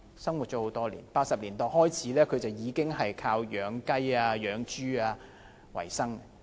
自1980年代開始，他已經靠養雞、養豬為生。